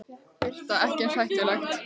Birta: Ekki eins hættuleg?